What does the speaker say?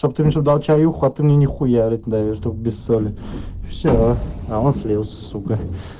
отмени хуярить чтоб без соли все а он слился сукко